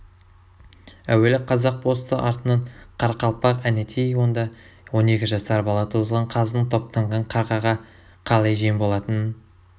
әуелі қазақ босты артынан қарақалпақ әнетей онда он екі жасар бала тозған қаздың топтанған қарғаға қалай жем болатынын